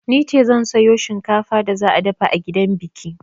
Nice zan sayo shinkafar da za a dafa a gidan biki.